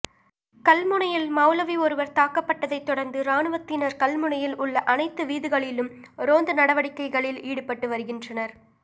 கல்முனையில் மௌலவி ஒருவர் தாக்கப்பட்டதை தொடர்ந்து இராணுவத்தினர் கல்முனையில் உள்ள அனைத்து வீதிகளிலும் ரோந்து நடவடிக்கைகளில் ஈடுபட்டு வருகின்றனர்